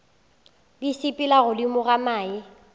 di sepela godimo ga mae